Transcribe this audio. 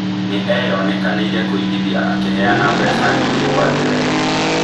Nĩeyonekanĩire kũigithia akiheana mbeca nyingĩ kwa njira ĩno